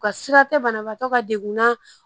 U ka sira tɛ banabaatɔ ka degun na